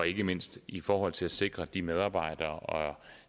ikke mindst i forhold til at sikre de medarbejdere